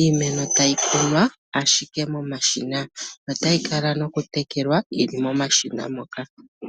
Iimeno tayi kunwa ashike momashina notayi kala nokutekelwa yi li momashina moka.